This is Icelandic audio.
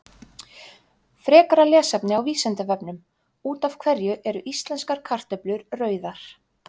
Frekara lesefni á Vísindavefnum: Út af hverju eru íslenskar kartöflur rauðar?